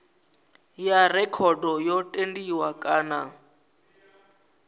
ya rekhodo yo tendiwa kana